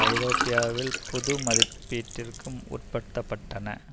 ஐரோப்பாவில் புது மதிப்பீட்டிற்கு உட்படுத்த பட்டன